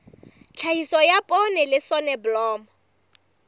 tlhahiso ya poone le soneblomo